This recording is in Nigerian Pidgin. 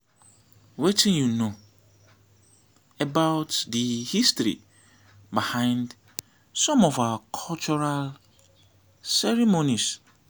wetin you know about di history behind some of our cultural ceremonies?